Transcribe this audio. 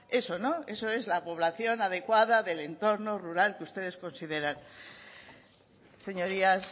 eso no eso es la población adecuada del entorno rural que ustedes consideran señorías